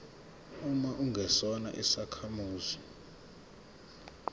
uma ungesona isakhamuzi